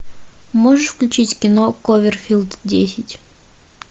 можешь включить кино кловерфилд десять